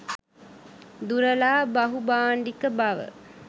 දුරලා බහුභාණ්ඩික බව